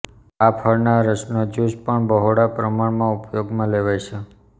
આ ફળના રસનો જ્ચુસ પણ બહોળા પ્રમાણમાં ઉપયોગમાં લેવાય છે